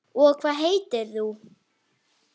Og hvað heitir þú?